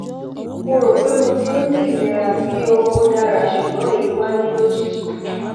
mo ro pé mo ti n ni ilera ti o o dara sugbon eyi wa ni lojiji